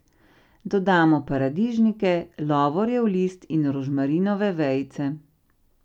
Dodamo paradižnike, lovorjev list in rožmarinove vejice.